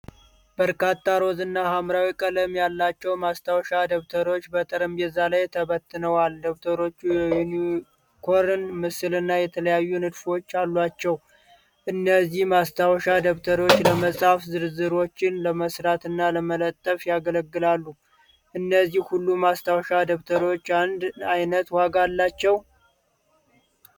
በርካታ ሮዝ እና ሐምራዊ ቀለም ያላቸው ማስታወሻ ደብተሮች በጠረጴዛ ላይ ተበትነዋል። ደብተሮቹ የዩኒኮርን ምስልና የተለያዩ ንድፎች አሏቸው። እነዚህ ማስታወሻ ደብተሮች ለመጻፍ፣ ዝርዝሮችን ለመሥራትና ለመለጠፍ ያገለግላሉ; እነዚህ ሁሉ ማስታወሻ ደብተሮች አንድ አይነት ዋጋ አላቸው?